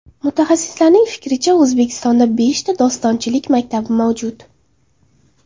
Mutaxassislarning fikricha, O‘zbekistonda beshta dostonchilik maktabi mavjud.